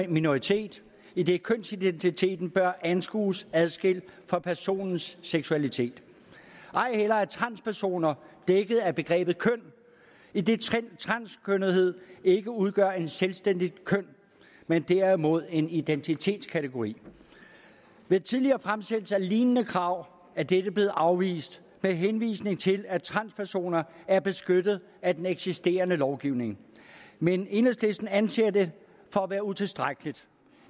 minoritet idet kønsidentiteten bør anskues adskilt fra personens seksualitet ej heller er transpersoner dækket af begrebet køn idet transkønnethed ikke udgør et selvstændigt køn men derimod en identitetskategori ved tidligere fremsættelse af lignende krav er dette blevet afvist med henvisning til at transpersoner er beskyttet af den eksisterende lovgivning men enhedslisten anser det for at være utilstrækkeligt